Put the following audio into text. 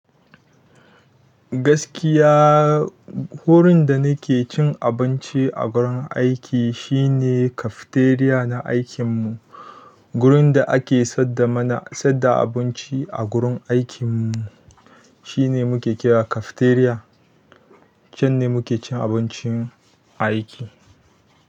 Gaskiya wurin da nake cin abinci a gurin aiki shine cafeteria na aikin mu. Gurin da ake sadda mana sadda abinci a gurin aikin mu shine muke kira cafeteria. Can ne muke cin abincin aiki.